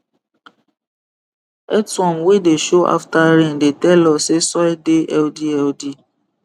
earthworm wey dey show after rain dey tell us say soil dey healthy healthy